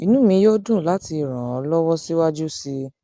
inú mi yóò dùn láti ràn ọ ràn ọ lọwọ síwájú sí i